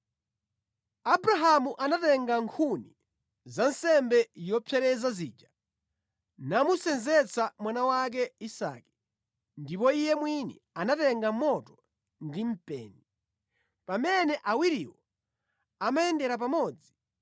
Abrahamu anatenga nkhuni za nsembe yopsereza zija namusenzetsa mwana wake Isake, ndipo iye mwini anatenga moto ndi mpeni. Pamene awiriwo amayendera pamodzi,